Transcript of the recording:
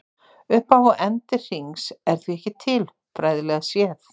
Upphaf og endir hrings er því ekki til, fræðilega séð.